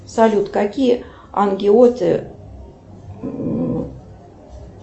салют какие ангеоты